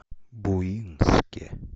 буинске